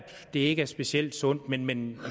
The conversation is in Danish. det ikke er specielt sundt men men i